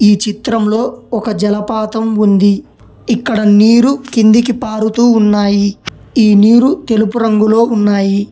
ఈ చిత్రంలో ఒక జలపాతం ఉంది ఇక్కడ నీరు కిందికి పారుతూ ఉన్నాయి ఈ నీరు తెలుపు రంగులో ఉన్నాయి.